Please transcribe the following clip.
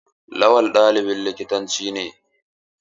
Lawal ɗalibin likitanci ne.